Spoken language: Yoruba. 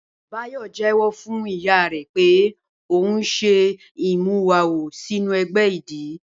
Báyò̩ jé̩wó̩ fún ìyá rè̩ pé òun s̩e ìmúwawo sínú e̩gbé̩ idì